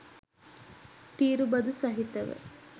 තීරු බදු සහිතව